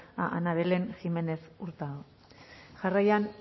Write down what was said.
a ana belén jiménez hurtado jarraian